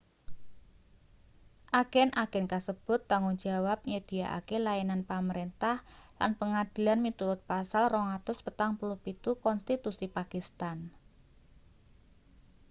agen-agen kasebut tanggung jawab nyedhiyakake layanan pamrentah lan pangadilan miturut pasal 247 konstitusi pakistan